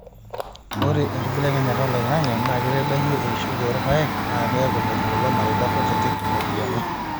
ore enkibelekenyata oloingange naa keitadoyio eishoi oorpaek naa keeku metum lelo mareita kutitik iropiyiani